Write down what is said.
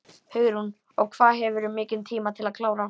Hugrún: Og hvað hefurðu mikinn tíma til að klára?